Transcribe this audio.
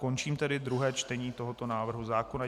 Končím tedy druhé čtení tohoto návrhu zákona.